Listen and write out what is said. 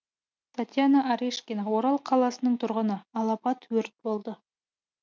татьяна арешкина орал қаласының тұрғыны алапат өрт болды